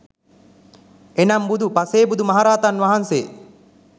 එනම් බුදු, පසේබුදු, මහරහතන් වහන්සේ